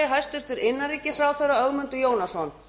hæstvirtur forseti ég ítreka að